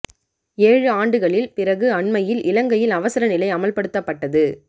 ஏழு ஆண்டுகளில் பிறகு அண்மையில் இலங்கையில் அவசர நிலை அமல்படுத்தப்பட்டது